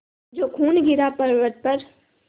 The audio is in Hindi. जो खून गिरा पवर्अत पर